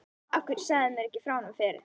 Af hverju sagðirðu mér ekki frá honum fyrr?